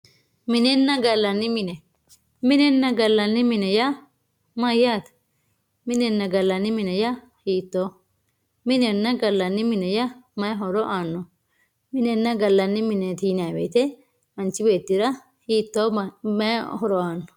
minenna gallanni mine minenna gallanni mine yaa mayyaate minenna gallani mine yaa hittooho minenna gallanni mine yaa mayii horo aanno minenna gallanni mineeti yinayi woyite manchi beettira mayi horo aanno